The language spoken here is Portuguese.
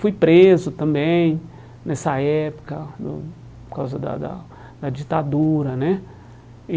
Fui preso também, nessa época, do por causa da da da ditadura né e.